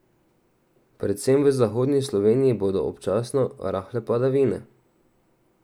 Predvsem v zahodni Sloveniji bodo občasno rahle padavine.